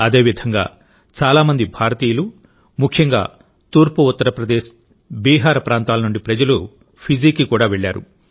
అదేవిధంగాచాలా మంది భారతీయులుముఖ్యంగా తూర్పు ఉత్తరప్రదేశ్ బీహార్ ప్రాంతాల నుండిప్రజలు ఫిజీకి కూడావెళ్లారు